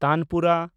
tanpura